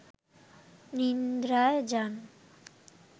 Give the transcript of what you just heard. নিদ্রায় যান